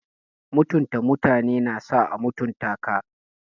Mutunta mutane na sa a mutunta ka.